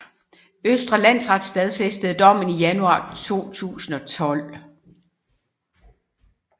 Østre Landsret stadfæstede dommen i januar 2012